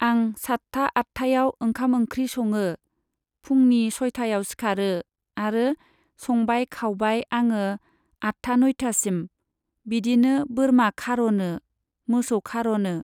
आं सात्था आत्थायाव ओंखाम ओंख्रि सङो। फुंनि सयथायाव सिखारो आरो संबाय खावबाय आङो आटथा नयथासिम। बिदिनो बोरमा खार'नो, मोसौ खार'नो।